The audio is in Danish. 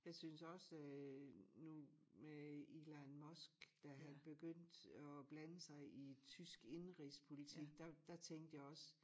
Jeg synes også øh nu med Elon Musk der havde begyndt at blande sig i tysk indenrigspolitik der der tænkte jeg også